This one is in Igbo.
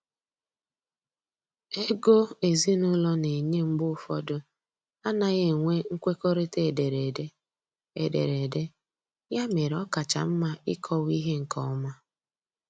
Ego ezinụlọ na enye mgbe ụfọdụ anaghị enwe nkwekọrịta ederede, ederede, ya mere ọ kacha mma ịkọwa ihe nkeọma